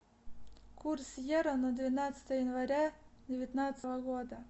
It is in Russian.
курс евро на двенадцатое января девятнадцатого года